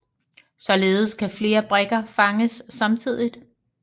Således kan flere brikker fanges samtidig